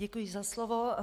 Děkuji za slovo.